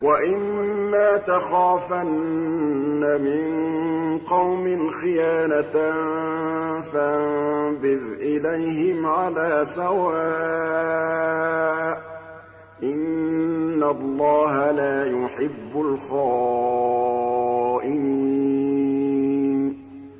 وَإِمَّا تَخَافَنَّ مِن قَوْمٍ خِيَانَةً فَانبِذْ إِلَيْهِمْ عَلَىٰ سَوَاءٍ ۚ إِنَّ اللَّهَ لَا يُحِبُّ الْخَائِنِينَ